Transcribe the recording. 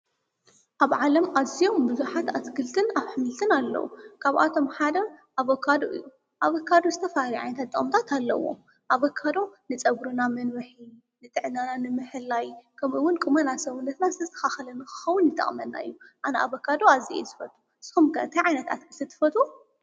ኣብ ዓለም ኣዝዮም ቡዙሓት ኣትክልትን ኣሕምልትን አለዉ። ካብ ኣቶም ሓደ ኣቨካዶ እዩ። ኣቨካዶ ዝተፋላለዩ ጥቅምታት ኣለዉዎ። ኣቨካዶ ንፀጉርና መንዉሒ ንጥዕናና ንምሕላይ ከማኡ እውን ቁመና ሰዉነትና ዝተስታካከለ ንክኸውን ይጠቅመና እዩ። ኣነ ኣቨካዶ አዝየ እየ ዝፈቱ። ንስኩም ከ እንታይ ዓይነት ኣትክልቲ ትፈትዉ?